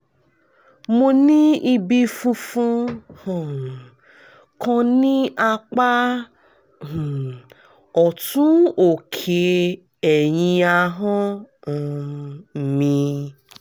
mo ní ibi funfun um kan ní apá um ọ̀tún òkè ẹ̀yìn ahọ́n um mi